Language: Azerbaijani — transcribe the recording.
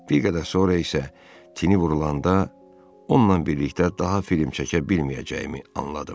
Bir qədər sonra isə tivi vurulanda onunla birlikdə daha film çəkə bilməyəcəyimi anladım.